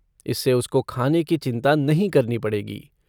इससे उसको खाने की चिंता नहीं करनी पड़ेगी।